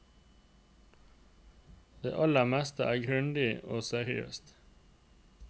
Det aller meste er grundig og seriøst.